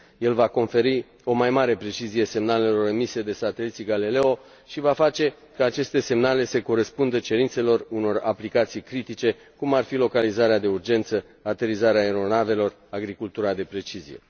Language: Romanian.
El va conferi o mai mare precizie semnalelor emise de sateliții Galileo și va face ca aceste semnale să corespundă cerințelor unor aplicații critice, cum ar fi localizarea de urgență, aterizarea aeronavelor, agricultura de precizie.